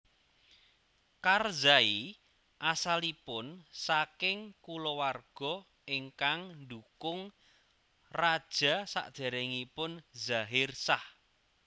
Karzai asalipun saking kulawarga ingkang ndhukung raja sadèrèngipun Zahir Shah